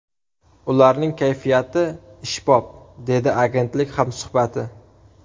Ularning kayfiyati ishbop””, dedi agentlik hamsuhbati.